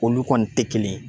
Olu kɔni tɛ kelen ye